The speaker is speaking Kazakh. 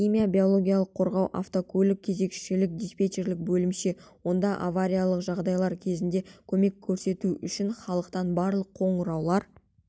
химия-биологиялық қорғау автоқызмет кезекшілік-диспетчерлік бөлімше онда авариялық жағдайлар кезінде көмек көрсету үшін халықтан барлық қоңыраулар